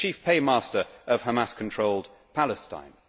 It is the chief paymaster of Hamas controlled Palestine.